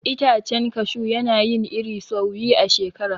Itacen kashu yana yin iri sau biyu a shekara.